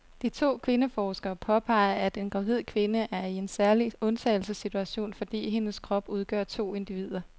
De to kvindeforskere påpeger, at en gravid kvinde er i en særlig undtagelsessituation, fordi hendes krop udgør to individer.